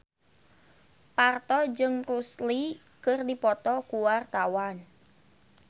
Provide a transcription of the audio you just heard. Parto jeung Bruce Lee keur dipoto ku wartawan